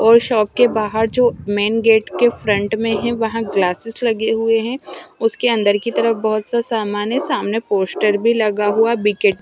और शॉप के बाहर जो मेंन गेट के फ्रंट में है वहां ग्लासेस लगे हुए हैं उसके अंदर की तरफ बहुत सारा सामान है सामने पोस्टर भी लगा हुआ है --